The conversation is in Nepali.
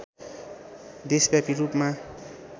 देशव्यापी रूपमा